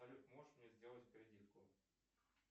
салют можешь мне сделать кредитку